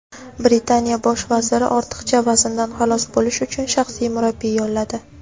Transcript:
Britaniya bosh vaziri ortiqcha vazndan xalos bo‘lish uchun shaxsiy murabbiy yolladi.